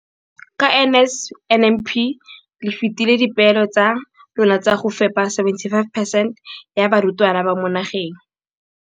Ka NSNP le fetile dipeelo tsa lona tsa go fepa masome a supa le botlhano a diperesente ya barutwana ba mo nageng.